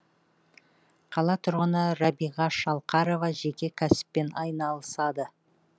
қала тұрғыны рабиға шалқарова жеке кәсіппен айналысады